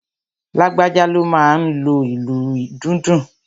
Lágbájá ló máa n lo ìlù dundun